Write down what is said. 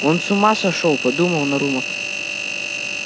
он с ума сошёл подумал нарумов